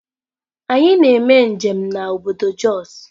Anyi na eme njem na obodo Jos.